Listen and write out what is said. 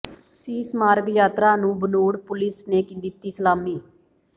ਸੀਸ ਮਾਰਗ ਯਾਤਰਾ ਨੂੰ ਬਨੂੜ ਪੁਲੀਸ ਨੇ ਦਿੱਤੀ ਸਲਾਮੀ